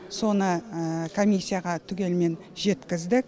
соны комиссияға түгелімен жеткіздік